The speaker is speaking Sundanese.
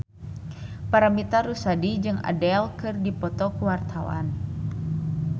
Paramitha Rusady jeung Adele keur dipoto ku wartawan